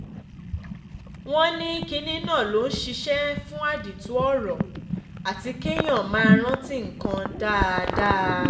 wọ́n ní kinní náà ló ń ṣiṣẹ́ fún àdìtú ọ̀rọ̀ àti kéèyàn máa rántí nǹkan dáadáa